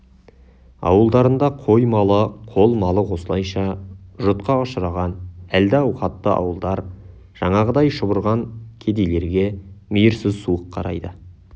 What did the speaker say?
ауылдарында қой малы қол малы осылайша жұтқа ұшыраған әлді ауқатты ауылдар жаңағыдай шұбырған кедейлерге мейірсіз суық қарайды